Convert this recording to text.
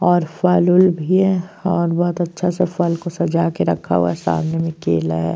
और फल वल भी है और बहुत अच्छा से फल को सजा के रखा हुआ है। सामने मे केला है।